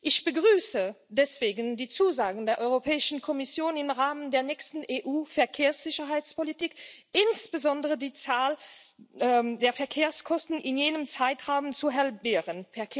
Ich begrüße deswegen die Zusagen der Europäischen Kommission, im Rahmen der nächsten EU Verkehrssicherheitspolitik insbesondere die Zahl der Verkehrstoten in jenem Zeitraum zu halbieren.